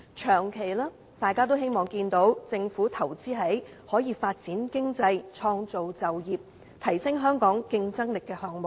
長期而言，大家也希望政府能投資在發展經濟、創造就業和提升香港競爭力的項目上。